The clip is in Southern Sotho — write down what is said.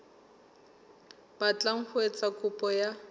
batlang ho etsa kopo ya